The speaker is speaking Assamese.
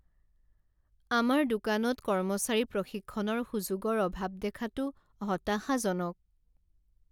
আমাৰ দোকানত কৰ্মচাৰী প্ৰশিক্ষণৰ সুযোগৰ অভাৱ দেখাটো হতাশাজনক।